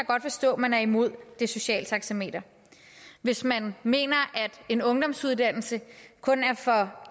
godt forstå man er imod det sociale taxameter hvis man mener at en ungdomsuddannelse kun er for